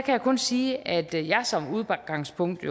jeg kun sige at jeg som udgangspunkt